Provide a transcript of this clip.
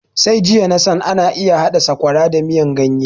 Sai jiya nasan ana iya haɗa sakwara da miyan ganye